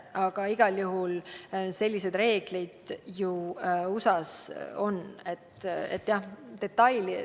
Aga igal juhul on sellised reeglid USA-s olemas.